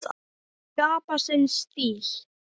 Skapa sinn stíl.